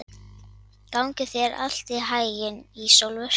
Gangi þér allt í haginn, Ísólfur.